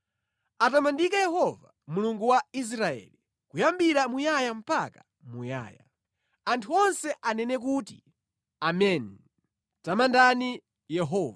Atamandike Yehova, Mulungu wa Israeli, Kuyambira muyaya mpaka muyaya. Anthu onse anene kuti, “Ameni!” Tamandani Yehova.